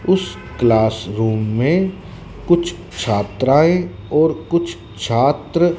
उस क्लासरूम में कुछ छात्राएँ और कुछ छात्र --